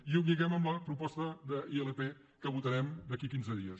i ho lliguem amb la proposta d’ilp que votarem d’aquí a quinze dies